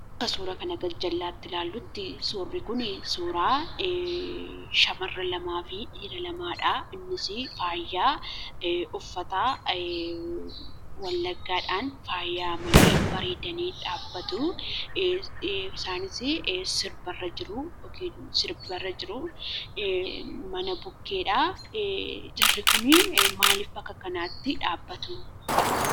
Akka suuraa gajjallaatti ilaallutti, suurri kun shamarraan lamaafi dhiira lamadha. Innis faayaa uffata Wallaggaadhaan faayamanii, bareedanii dhaabbatu. Isaanis sirba irra jiru. Mana bukkedha maaliif jarri kun akkanatti dhaabbatu?